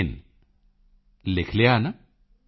in ਲਿਖ ਲਿਆ ਨਾ